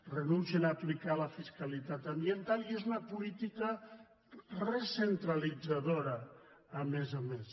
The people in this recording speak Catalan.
renuncien a aplicar la fiscalitat ambiental i és una política recentralitzadora a més a més